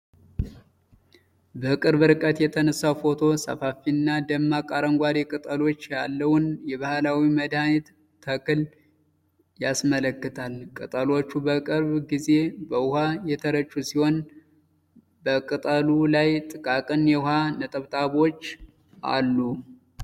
በቅርብ ርቀት የተነሳው ፎቶ ሰፋፊና ደማቅ አረንጓዴ ቅጠሎች ያለውን የባህላዊ መድኃኒት ተክል ያስመለክታል። ቅጠሎቹ በቅርብ ጊዜ በውሃ የተረጩ ሲሆን በቅጠሉ ላይ ጥቃቅን የውሃ ነጠብጣቦች አሉ።